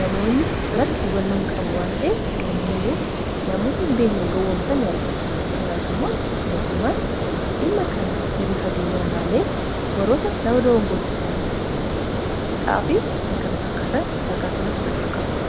namoonni biratti hubannoo hin qabu wanta'eef namoonni yeroo namoota hin beekne gowwomsa ni argina kanaaf immoo mootummaan dhimma kana gadi fageenyaan ilaalee warroota nama dogoggorsiisan hidhaafi kan kana fakkaatan tarkaanfii irratti fudhachuu qaba